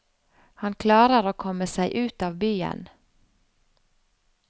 Han klarer å komme seg ut av byen.